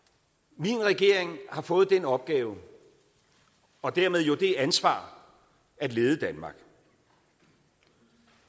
min regering har fået den opgave og dermed jo det ansvar at lede danmark